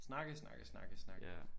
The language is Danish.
Snakke snakke snakke snakke